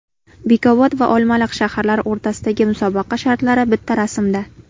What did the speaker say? Bekobod va Olmaliq shaharlari o‘rtasidagi musobaqa shartlari bitta rasmda .